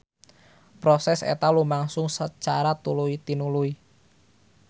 Proses eta lumangsung sacara tuluy-tinuluy.